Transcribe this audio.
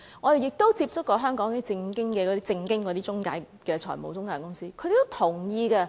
我們亦曾接觸香港那些正當的財務中介公司，他們也是同意的。